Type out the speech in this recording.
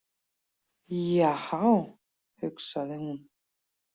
Jahá, hugsaði hún.